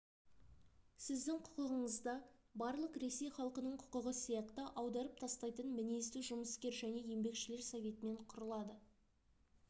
сіздің құқықтығыңыз да барлық ресей халқының құқығы сияқты аударып тастайтын мінезді жұмыскер және еңбекшілер советімен құрылады